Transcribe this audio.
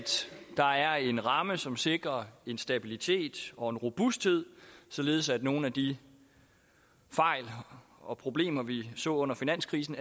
der er en ramme som sikrer en stabilitet og en robusthed således at nogle af de fejl og problemer vi så under finanskrisen